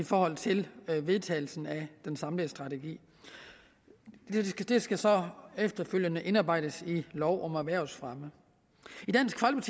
i forhold til vedtagelsen af den samlede strategi det skal så efterfølgende indarbejdes i lov om erhvervsfremme